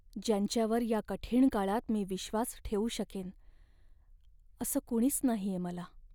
ज्यांच्यावर या कठीण काळात मी विश्वास ठेवू शकेन असं कुणीच नाहीये मला.